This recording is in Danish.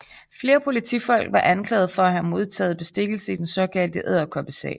Flere politifolk var anklaget for at have modtaget bestikkelse i den såkaldte Edderkoppesag